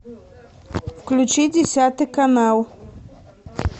включи десятый канал